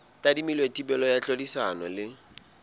tadimilwe thibelo ya tlhodisano le